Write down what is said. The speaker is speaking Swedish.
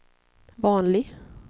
vanlig